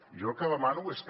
jo el que demano és que